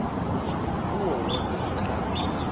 kuwo wonke umhlaba